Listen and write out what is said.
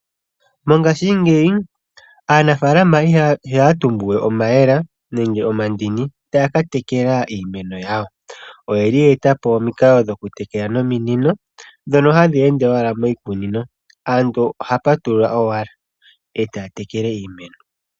Mongashingeyi aanafalama ihaya tumbu we omayemele nenge omandini taya katekela iimeno yawo. Oyeli ye etapo omikalo dhoku tekela nominino ndhono hadhi ende owala miikunino nomuntu oha patulula owala eta tekele iimeno.